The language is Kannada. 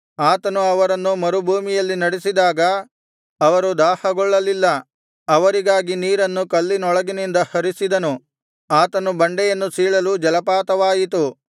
ಆತನು ಅವರನ್ನು ಮರುಭೂಮಿಯಲ್ಲಿ ನಡೆಸಿದಾಗ ಅವರು ದಾಹಗೊಳ್ಳಲಿಲ್ಲ ಅವರಿಗಾಗಿ ನೀರನ್ನು ಕಲ್ಲಿನೊಳಗಿಂದ ಹರಿಸಿದನು ಆತನು ಬಂಡೆಯನ್ನು ಸೀಳಲು ಜಲಪಾತವಾಯಿತು